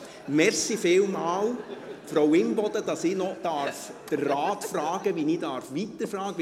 Vielen Dank, Frau Imboden, dass ich den Rat noch fragen darf, wie ich weiterfahren soll;